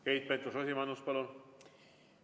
Keit Pentus-Rosimannus, palun!